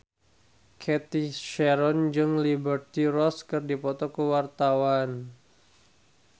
Cathy Sharon jeung Liberty Ross keur dipoto ku wartawan